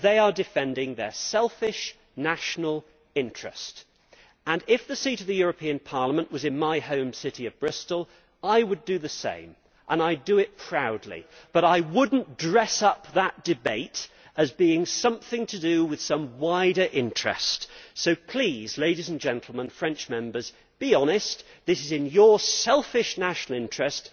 They are defending their selfish national interest and if the seat of the European Parliament was in my home city of Bristol, I would do the same and I would do it proudly, but I would not dress up that debate as being something to do with some wider interest. So please, ladies and gentlemen, French Members, be honest this is in your selfish national interest.